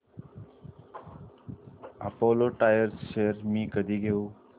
Apollo tyres shares मी कधी घेऊ